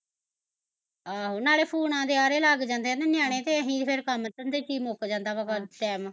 ਆਹੋ ਨਾਲੈ ਫੂਨਾ ਦੇ ਆਰੇ ਲੱਗ ਜਾਂਦੇ ਐ ਨਾ ਨਿਆਣੇ ਤੇ ਅਸੀਂ ਫਿਰ ਕੰਮ ਧੰਦੇ ਚ ਈ ਮੁੱਕ ਜਾਂਦਾ ਵਾਂ ਗੱਲ ਟੈਮ